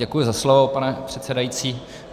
Děkuji za slovo, pane předsedající.